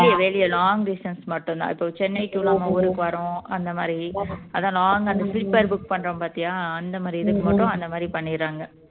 வெளிய வெளிய long distance மட்டும் தான் இப்போ சென்னை நம்ம ஊருக்கு வரோம் அந்த மாதிரி அதான் அந்த long அந்த sleeper book பண்றோம் பாத்தியா அந்த மாதிரி இதுக்கு மட்டும் அந்த மாதிரி பண்ணிடுறாங்க